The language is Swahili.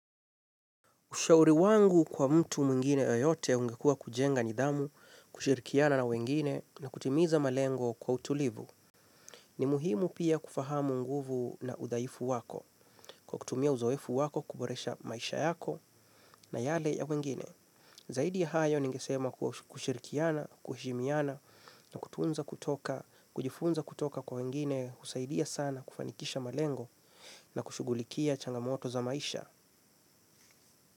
Ushauri wangu kwa mtu mwingine yeyote ungekua kujenga nidhamu, kushirikiana na wengine na kutimiza malengo kwa utulivu. Ni muhimu pia kufahamu nguvu na udhaifu wako, kwa kutumia uzoefu wako kuboresha maisha yako na yale ya wengine. Zaidi ya hayo ningesema kushirikiana, kuhimiana na kutunza kutoka, kujifunza kutoka kwa wengine husaidia sana kufanikisha malengo na kushugulikia changamoto za maisha.